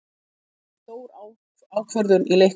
Þetta er stór ákvörðun í leiknum.